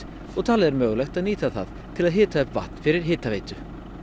og talið er mögulegt að nýta það til að hita upp vatn fyrir hitaveitu